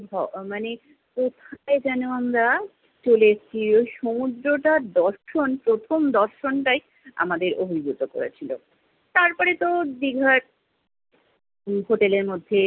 ম~ মানে কোথায় যেন আমরা চলে এসছি। ওই সমুদ্রটার দর্শন, প্রথম দর্শনটাই আমাদের অভিভূত করেছিলো। তারপরে তো দীঘায় হোটেলের মধ্যে